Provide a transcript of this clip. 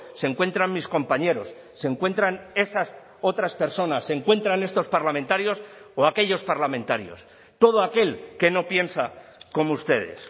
se encuentran mis compañeros se encuentran esas otras personas se encuentran estos parlamentarios o aquellos parlamentarios todo aquel que no piensa como ustedes